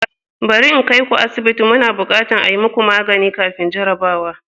Bari in kai ku asibiti, muna buƙatar a yi muku magani kafin jarrabawa.